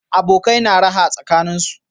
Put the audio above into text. Abokai na raha tsakaninsu